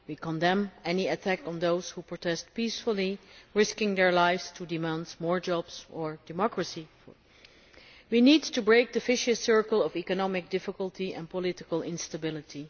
we condemn any attack on those who protest peacefully, risking their lives to demand more jobs or democracy. We need to break the vicious circle of economic difficulty and political instability.